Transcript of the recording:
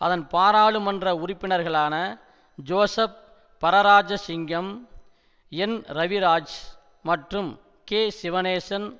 அதன் பாராளுமன்ற உறுப்பினர்களான ஜோசப் பரராஜசிங்கம் என்ரவிராஜ் மற்றும் கேசிவனேசன்